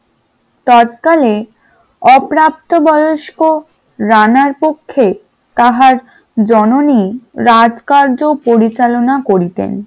তৎকালে অপ্রাপ্তবয়স্ক রানার পক্ষে তাহার জননী রাজকার্য পরিচালনা করিতেন ।